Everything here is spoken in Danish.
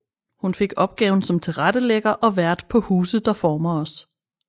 Hun fik opgaven som tilrettelægger og vært på Huse der former os